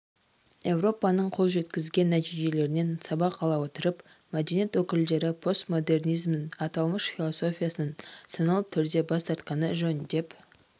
еуропаның қол жеткізген нәтижелерінен сабақ ала отырып мәдениет өкілдері постмодернизмнің аталмыш философиясынан саналы түрде бас тартқаны жөн деп